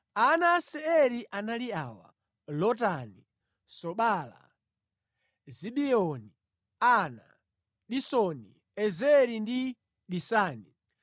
Ana a Seiri anali awa: Lotani, Sobala, Zibeoni, Ana, Disoni, Ezeri ndi Disani.